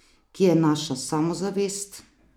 Kje je naša samozavest?